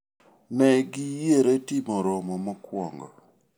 ne giyiere timo romo mokwongo